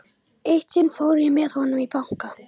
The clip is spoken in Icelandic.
Eitt sinn fór ég með honum í banka.